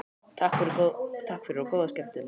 Takk fyrir og góða skemmtun.